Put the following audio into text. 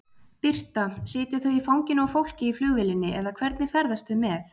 Birta: Sitja þau í fanginu á fólki í flugvélinni eða hvernig ferðast þau með?